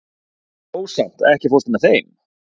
Rósant, ekki fórstu með þeim?